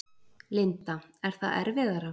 Linda: Er það erfiðara?